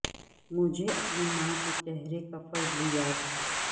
مجھے اپنی ماں کے چہرے کا فضل یاد ہے